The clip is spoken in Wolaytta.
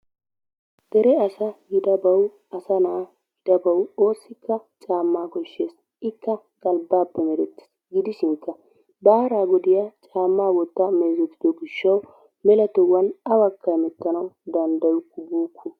Dere asa gidabawu asana gidabawu oosikka caamaa koshshees. Ikka galbbaappe merettes gidishin baara godiya caamaa wottaa meezetido gishawu mela tohuwan awakka hemetana danddayukku buukku.